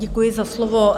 Děkuji za slovo.